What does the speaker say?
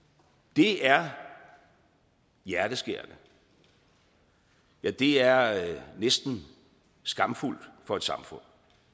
det er hjerteskærende ja det er næsten skamfuldt for et samfund